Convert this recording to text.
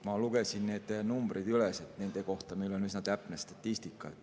Ma lugesin need numbrid üles, nende kohta meil on üsna täpne statistika.